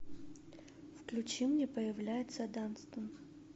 включи мне появляется данстон